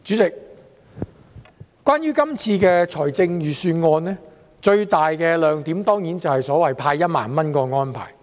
主席，關於今次的財政預算案，最大亮點當然是所謂派發1萬元的安排。